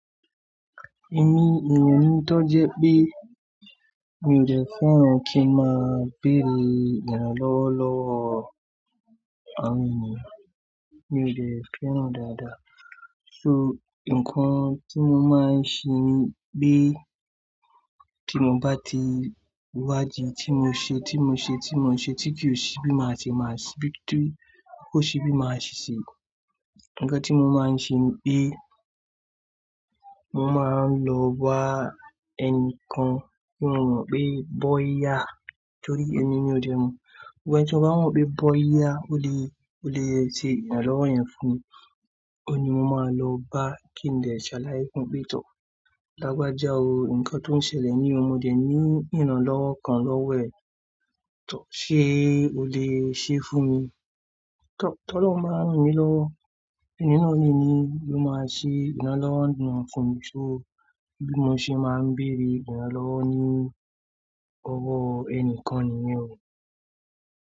Èmi, èmi tó jẹ pé mi ò jẹ́ fẹ́ràn kí n máa béèrè ìrànlọ́wọ́ lọ́wọ́ àwọn ènìyàn, mi ò lè fẹ́ràn dáadáa. So nǹkan tí mo máa ń ṣe ni pé tí mo bá ti wádìí tí mo ṣe, tí mo ṣe, tí mo ṣe, tí kìí ṣe bí màá ṣe, máa ṣebí tó kó ṣe bí màá ṣe ṣe. Ǹkan tí mo máa ń ṣe ni pé mo máa ń lọ bá ẹnìkan tí mo mọ̀ pé bọ́yá torí ẹni mí ò dé mọ̀. Ǹkan tí mo bá mọ̀ pé bọ́yá ó lè, ó lè ṣe ìrànlọ́wọ́ yẹn fún mi, òun ni mo máa lọ bá kí n dè ṣàlàyé fún un pé, "Tọ́r, lágbájá o, nǹkan tó ń ṣẹlẹ̀ ní mọdé ní ìrànlọ́wọ́ kan lọ́wọ́ ẹ. Tọ́r ṣé o lè ṣe é fún mi?" Tọ́ lọun máa rán mi lọwo. Ẹni náà ni mó máa ṣe ìrànlọ́wọ́ náà fún mi. So bí mo ṣe máa ń béèrè ìrànlọ́wọ́ ní ọwọ́ ẹni kan nìyẹn o.